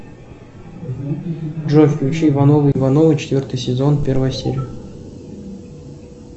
джой включи ивановы ивановы четвертый сезон первая серия